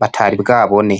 batari bwabone.